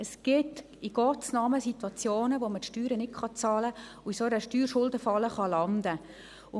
Es gibt in Gottes Namen Situationen, wo man die Steuern nicht bezahlen und in einer Steuerschuldenfalle landen kann.